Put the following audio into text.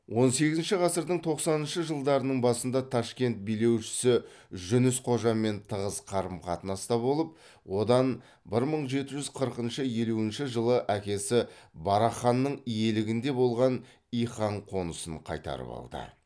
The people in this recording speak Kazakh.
он сегізінші ғасырдың тоқсаныншы жылдарының басында ташкент билеушісі жүніс қожамен тығыз қарым қатынаста болып одан бір мың жеті жүз қырықыншы елуінші жылы әкесі барақ ханның иелігінде болған иқан қонысын қайтарып алды